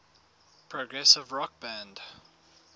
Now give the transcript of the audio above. progressive rock band